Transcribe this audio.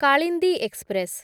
Kalindi express